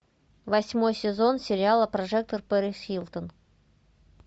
восьмой сезон сериала прожекторперисхилтон